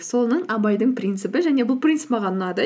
соның абайдың принципі және бұл принцип маған ұнады